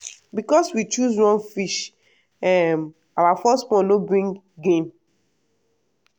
because we choose wrong fish um our first pond no bring gain.